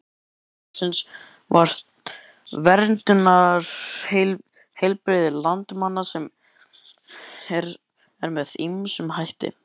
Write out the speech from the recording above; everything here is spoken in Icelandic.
Framlag samfélagsins til verndunar heilbrigði landsmanna er með ýmsum hætti.